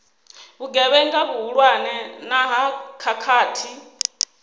vhugevhenga vhuhulwane na ha khakhathi